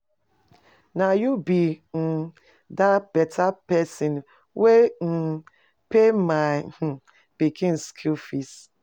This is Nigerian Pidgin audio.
Na you be um that beta person wey um pay my um pikin school fees?